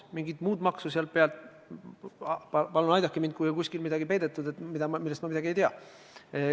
Mingit muud maksu selle pealt ei tasuta – palun aidake mind, kui kusagile on peidetud midagi, millest ma midagi ei tea.